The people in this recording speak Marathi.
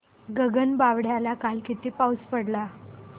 गगनबावड्याला काल किती पाऊस पडला